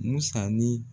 Musa ni